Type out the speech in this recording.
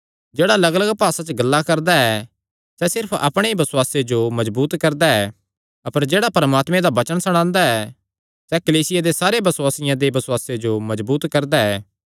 जेह्ड़ा लग्गलग्ग भासा च गल्लां करदा ऐ सैह़ सिर्फ अपणे ई बसुआसे जो मजबूत करदा ऐ अपर जेह्ड़ा परमात्मे दा वचन सणांदा ऐ सैह़ कलीसिया दे सारे बसुआसियां दे बसुआसे जो मजबूत करदा ऐ